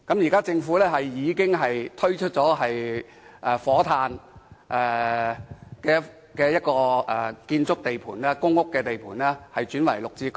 現在，政府已撥出火炭一個公屋建築地盤，將日後落成單位轉作綠置居出售。